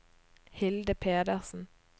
Hilde Pedersen